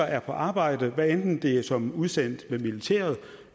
er på arbejde hvad enten det er som udsendt med militæret